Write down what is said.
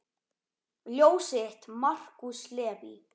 Ljósið þitt, Markús Leví.